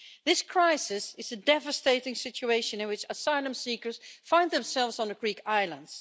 This crisis is a devastating situation in which asylum seekers find themselves on a Greek island.